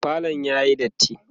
falon yayi datti